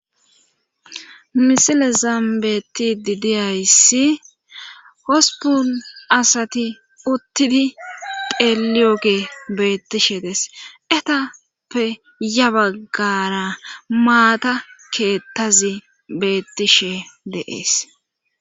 Misile zambeti didiyayssi hospun asati uttidi peeliyoge beettishe des etappe ya baggara maata keettazi beettishe deees.